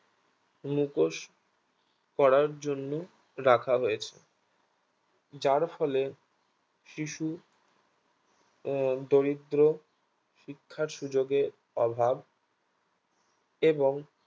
মুখোশ পড়ার জন্য রাখা হয়েছে যার ফলে শিশু আহ দরিদ্র শিক্ষার সুযোগে অভাব এবং